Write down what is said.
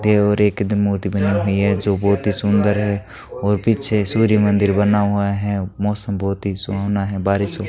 देवर एक दिन मूर्ति बनी हुई है जो बहोत ही सुंदर है और पीछे सूर्य मंदिर बना हुआ है मौसम बहोत ही सुहावना है बारिश हो --